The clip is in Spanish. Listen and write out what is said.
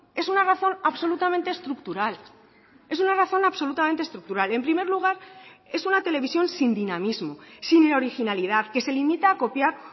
es una razón absolutamente estructural es una razón absolutamente estructural en primer lugar es una televisión sin dinamismo sin originalidad que se limita a copiar